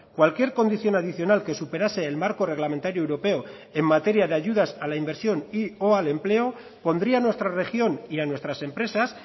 cualquier condición adicional que superase el marco reglamentario europeo en materia de ayudas a la inversión y o al empleo pondría nuestra región y a nuestras empresas